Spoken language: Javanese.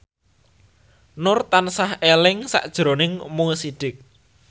Nur tansah eling sakjroning Mo Sidik